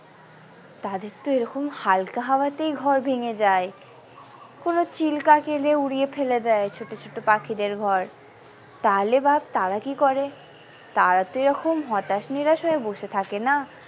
তাদের তো এরকম হালকা হাওয়াতেই ঘর ভেঙে যায় কোনো চিল কাক এলে উড়িয়ে ফেলে দেয় ছোট ছোট পাখিদের ঘর তাহলে ভাব তারা কি করে তারা তো এরাম হতাশ নিরাশ হয়ে বসে থাকে না।